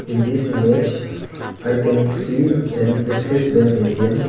in this image i can see an axis bank A_T_M.